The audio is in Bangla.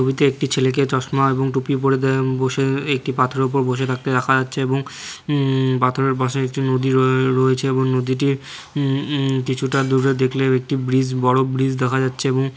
ছবিতে একটি ছেলেকে চশমা এবং টুপি পরে দে বসে একটি পাথরের উপর বসে থাকতে দেখা যাচ্ছে এবং উম পাথরের পাশে একটি নদীর র রয়েছে এবং উম উম নদীটির কিছুটা দূরে দেখলে একটি ব্রিজ বড় ব্রিজ দেখা যাচ্ছে এবং।